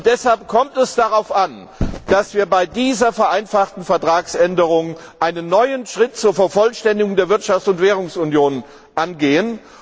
Deshalb kommt es darauf an, dass wir bei dieser vereinfachten Vertragsänderung einen neuen Schritt zur Vervollständigung der Wirtschafts und Währungsunion unternehmen.